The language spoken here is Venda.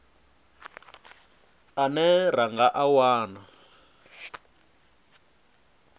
ane ra nga a wana